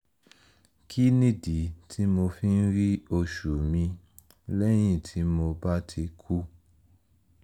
kí nìdí tí mo fi ń rí oṣù mi lẹ́yìn tí mo bá ti kú?